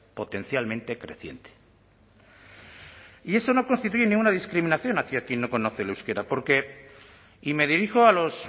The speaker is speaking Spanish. potencialmente creciente y eso no constituye ninguna discriminación hacia quién no conoce el euskera porque y me dirijo a los